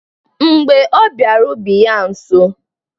Mgbe ọ bịara ubi yaa nso,